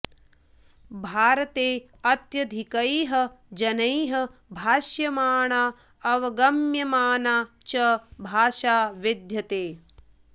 भारते अत्यधिकैः जनैः भाष्यमाणा अवगम्यमाना च भाषा विद्यते